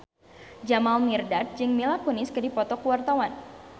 Jamal Mirdad jeung Mila Kunis keur dipoto ku wartawan